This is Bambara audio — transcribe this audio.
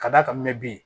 Ka d'a kan n bɛ bi